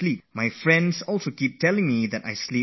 My friends complain to me often that I sleep very little